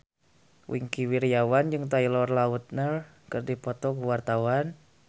Wingky Wiryawan jeung Taylor Lautner keur dipoto ku wartawan